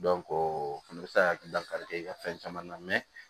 o fɛnɛ bɛ se ka hakililakari kɛ i ka fɛn caman na